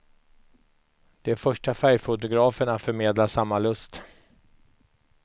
De första färgfotograferna förmedlar samma lust.